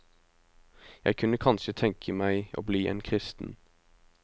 Jeg kunne kanskje tenke meg å bli en kristen.